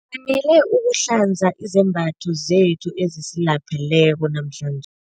Ngifanele ukuhlanza izembatho zethu ezisilapheleko namhlanje.